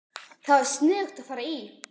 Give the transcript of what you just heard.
Það var sniðugt að fara í